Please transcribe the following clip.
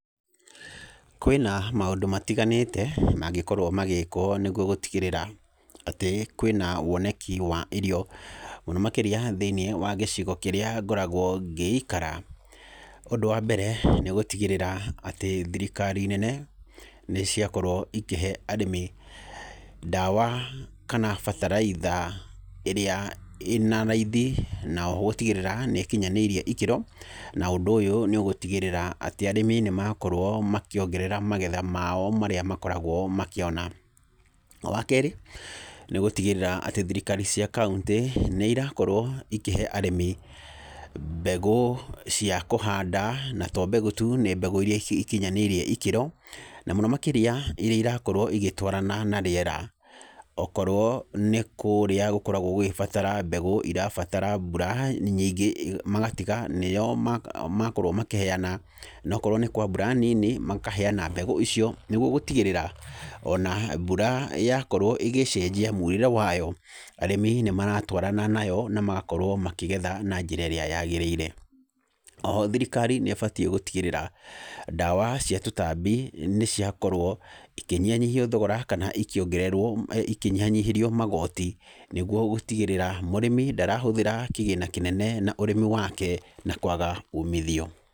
Kwĩna maũndũ matiganĩte mangĩkorwo magĩkwo nĩgwo gũtigĩrĩra atĩ kwĩna woneki wa irio mũno makĩria thĩiniĩ wa gĩcigo kĩrĩa ngoragwo ngĩikara. Ũndũ wa mbere, nĩ gũtigĩrĩra atĩ thirikari nene nĩ ciakorwo ikĩhe arĩmi ndawa kana bataraitha ĩrĩa ĩna raithi na oho gũtigĩrĩra nĩ kinyanĩirie ikĩro, na ũndũ ũyũ nĩ ũgũtigĩrĩra atĩ arĩmi nĩ makorwo makĩongerera magetha mao marĩa makoragwo makĩona. Wa kerĩ, nĩ gũtigĩrĩra atĩ thirikari cia kaũntĩ nĩ irakorwo ikĩhe arĩmi mbegũ cia kũhanda, na to mbegũ tu nĩ mbegũ iria ikinyanĩirie ikĩro, na mũno makĩria iria irakorwo igĩtwarana na rĩera. Okorwo nĩ kũrĩa gũkoragwo gũgĩbatara mbegũ irabatara mbura nyingĩ, magatiga nĩyo ma, makorwo makĩheana, nokorwo nĩ kwa mbura nini makaheana mbegũ icio nĩgwo gũtigĩrĩra ona mbura yakorwo ĩgĩcenjia murĩre wayo, arĩmi nĩ maratwarana nayo na magakorwo makĩgetha na njĩra ĩrĩa yagĩrĩire. Oho thirikari nĩ ĩbatiĩ gũtigĩrĩra ndawa cia tũtambi nĩ ciakorwo ikĩnyihanyihio thogora kana ikĩongererwo, ikĩnyihanyihĩrio magooti nĩgwo gũtigĩrĩra mũrĩmi ndarahũthĩra kĩgĩna kĩnene na ũrĩmi wake na kwaga umithio.